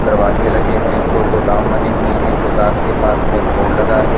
दरवाजे लगे हैं दो गोदाम बने हुई हैं गोदाम के पास में एक बोर्ड लगा है।